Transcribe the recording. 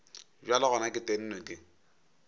bjale gona ke tennwe ke